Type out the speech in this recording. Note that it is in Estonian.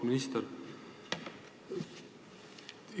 Auväärt minister!